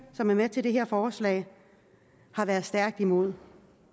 som er med til det her forslag har været stærkt imod